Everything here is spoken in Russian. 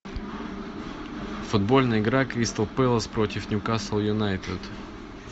футбольная игра кристал пэлас против ньюкасл юнайтед